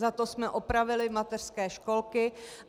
Za to jsme opravili mateřské školky.